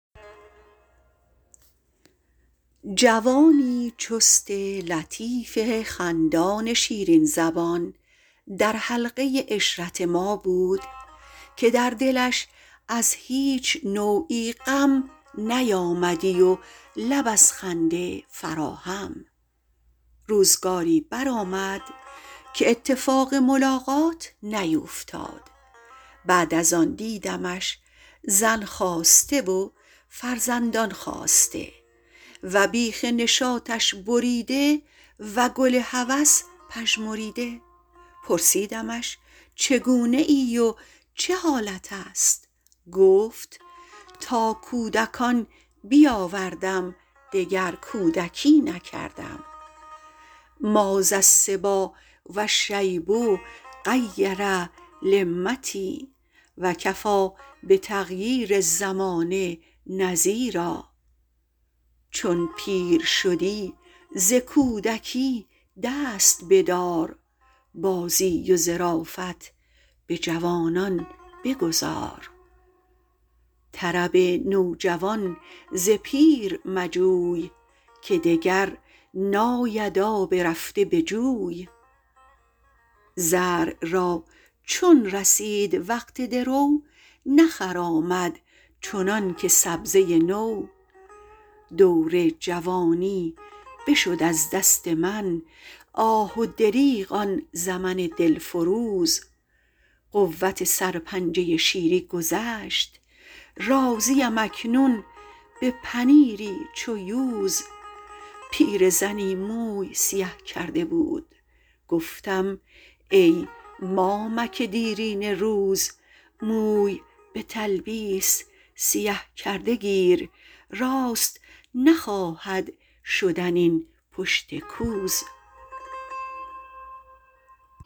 جوانی چست لطیف خندان شیرین زبان در حلقه عشرت ما بود که در دلش از هیچ نوعی غم نیامدی و لب از خنده فرا هم روزگاری برآمد که اتفاق ملاقات نیوفتاد بعد از آن دیدمش زن خواسته و فرزندان خاسته و بیخ نشاطش بریده و گل هوس پژمریده پرسیدمش چگونه ای و چه حالت است گفت تا کودکان بیاوردم دگر کودکی نکردم ما ذا الصبیٰ و الشیب غیر لمتی و کفیٰ بتغییر الزمان نذیرا چون پیر شدی ز کودکی دست بدار بازی و ظرافت به جوانان بگذار طرب نوجوان ز پیر مجوی که دگر ناید آب رفته به جوی زرع را چون رسید وقت درو نخرامد چنان که سبزه نو دور جوانی بشد از دست من آه و دریغ آن زمن دل فروز قوت سرپنجه شیری گذشت راضی ام اکنون به پنیری چو یوز پیرزنی موی سیه کرده بود گفتم ای مامک دیرینه روز موی به تلبیس سیه کرده گیر راست نخواهد شدن این پشت کوز